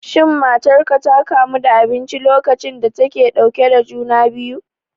Shin matarka ta kamu da abinci lokacin da take ɗauke da juna biyu?